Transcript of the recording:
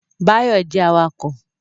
Báyọ̀ jẹ́ awakọ̀